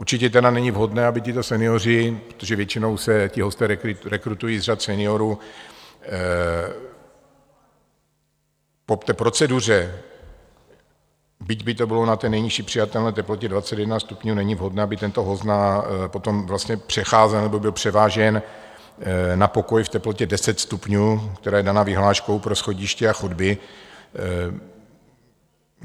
Určitě tedy není vhodné, aby tito senioři, protože většinou se ti hosté rekrutují z řad seniorů, po té proceduře, byť by to bylo na té nejnižší přijatelné teplotě 21 stupňů, není vhodné, aby tento host potom vlastně přecházel nebo byl převážen na pokoj v teplotě 10 stupňů, která je daná vyhláškou pro schodiště a chodby.